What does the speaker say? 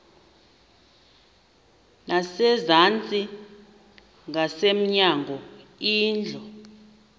ngasezantsi ngasemnyango indlu